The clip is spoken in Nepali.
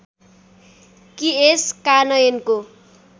कि यस कानयनको